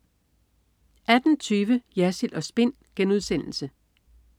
18.20 Jersild & Spin*